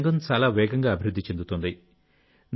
ఈ రంగం చాలా వేగంగా అభివృద్ధి చెందుతోంది